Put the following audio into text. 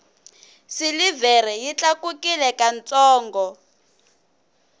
silivhere yi tlakukile ka ntsongo